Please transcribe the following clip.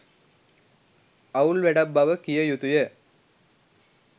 අවුල් වැඩක් බව කිය යුතුය.